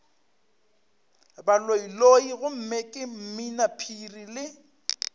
baloiloi gomme ke mminaphiri le